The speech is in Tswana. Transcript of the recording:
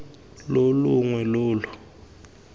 lo lo longwe lo lo